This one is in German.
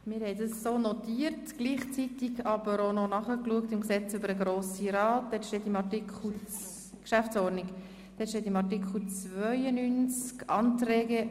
Wir haben dies so notiert, gleichzeitig aber auch noch in der Geschäftsordnung des Grossen Rats nachgeschlagen.